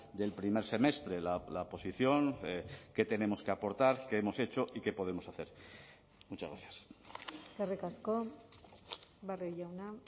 del primer semestre la posición qué tenemos que aportar qué hemos hecho y qué podemos hacer muchas gracias eskerrik asko barrio jauna